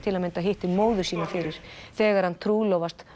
hittir móður sína fyrir þegar hann trúlofast